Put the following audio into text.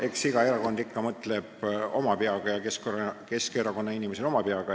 Eks iga erakond mõtleb ikka oma peaga ja ka Keskerakonna inimesed mõtlevad oma peaga.